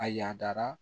A y'a dara